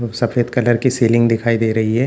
सफेद कलर की सीलिंग दिखाई दे रही है।